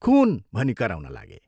'खुन' भनी कराउन लागे।